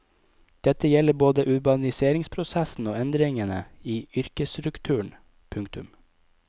Dette gjelder både urbaniseringsprosessen og endringene i yrkesstrukturen. punktum